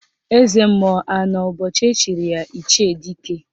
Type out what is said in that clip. Eze mmụọ anọ ụbọchị echiri ya Ichie Dike?